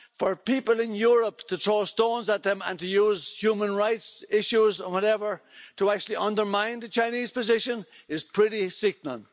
For people in Europe to throw stones at them and to use human rights issues and whatever to actually undermine the Chinese position is pretty sickening.